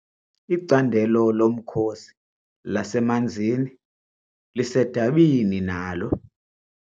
Icandelo lomkhosi lasemanzini lisedabini nalo.